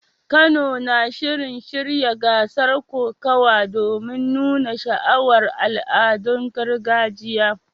Kano na shirin shirya gasar kokawa domin nuna sha'awar al'adun gargajiyar.